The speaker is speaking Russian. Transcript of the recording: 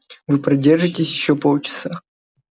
вы продержитесь ещё полчаса